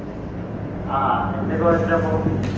ആഹ് എന്തെ കോളേജിൽ അപ് പൊ?